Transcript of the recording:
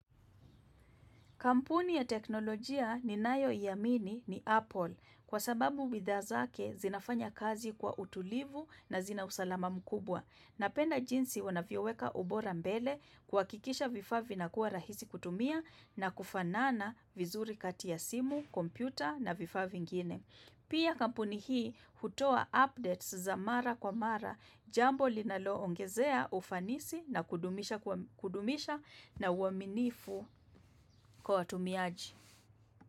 Kampuni ya teknolojia ninayoiamini ni Apple kwa sababu bidhaa zake zinafanya kazi kwa utulivu na zina usalama mkubwa. Napenda jinsi wanavyoweka ubora mbele kuhakikisha vifaa vinakuwa rahisi kutumia na kufanana vizuri kati ya simu, kompyuta na vifaa vingine. Pia kampuni hii hutoa updates za mara kwa mara jambo linaloongezea ufanisi na kudumisha na uaminifu kwa watumiaji.